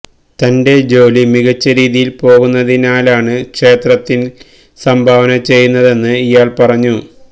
തന്റെ ജോലി മികച്ച രീതിയില് പോകുന്നതിനാലാണ് ക്ഷേത്രത്തിന് സംഭാവന ചെയ്യുന്നതെന്ന് ഇയാള് പറഞ്ഞു